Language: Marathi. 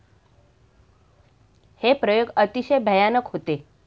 हे प्रयोग अतिशय भयानक होते.